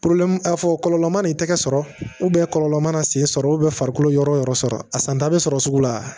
fɔ kɔlɔlɔ mana i tɛgɛ sɔrɔ ubɛn kɔlɔlɔ mana sen sɔrɔ farikolo yɔrɔ o yɔrɔ sɔrɔ a san ta be sɔrɔ sugu la